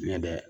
Ɲɛ dɛ